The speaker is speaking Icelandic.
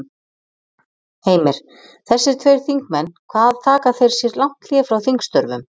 Heimir: Þessir tveir þingmenn hvað taka þeir sér lang hlé frá þingstörfum?